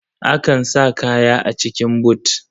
Akan sa kaya a cikin but.